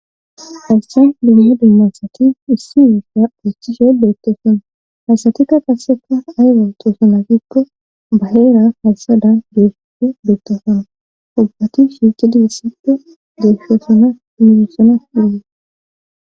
essan bunye dimmasati issi miissa phostishe beettesona hasatikka qasseka ayro toosona gikko baheera hasadan deefppe beettosona ubbati shiicidi issippe desshoosona minoosona diye